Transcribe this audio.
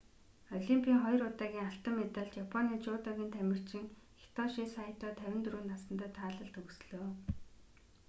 олимпийн хоёр удаагийн алтан медалт японы жүдогийн тамирчин хитоши сайто 54 насандаа таалал төгслөө